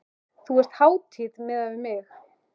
Þú ert hátíð miðað við mig.